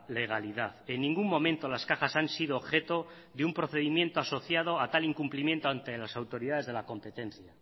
legalidad en ningún momento las cajas han sido objeto de un procedimiento asociado a tal incumplimiento ante las autoridades de la competencia